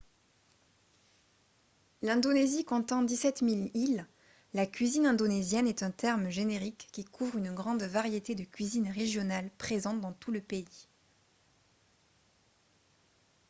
l'indonésie comptant 17 000 îles la cuisine indonésienne est un terme générique qui couvre une grande variété de cuisines régionales présentes dans tout le pays